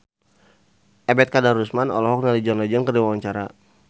Ebet Kadarusman olohok ningali John Legend keur diwawancara